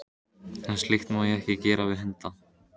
En slíkt má ekki gera við hunda.